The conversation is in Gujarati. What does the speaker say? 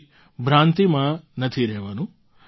કોઈ ભ્રાંતિમાં નથી રહેવાનું